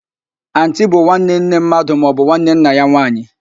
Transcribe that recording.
Antii bụ nwanne nne mmadụ maọbụ nwanne nna ya nwaanyị